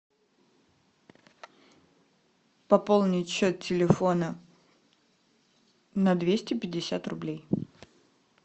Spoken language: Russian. пополнить счет телефона на двести пятьдесят рублей